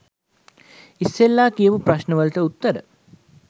ඉස්සරලා කියපු ප්‍රශ්න වලට උත්තර